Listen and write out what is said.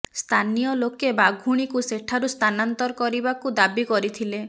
ସ୍ଥାନୀୟ ଲୋକେ ବାଘୁଣୀକୁ ସେଠାରୁ ସ୍ଥାନାନ୍ତର କରିବାକୁ ଦାବି କରିଥିଲେ